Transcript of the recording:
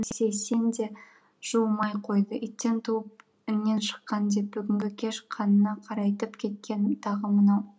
сейсен де жуымай қойды иттен туып іннен шыққан деп бүгінгі кеш қанына қарайтып кеткені тағы мынау